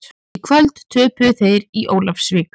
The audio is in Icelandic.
Í kvöld töpuðu þeir í Ólafsvík.